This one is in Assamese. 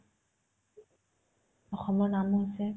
অসমৰ নাম হৈছে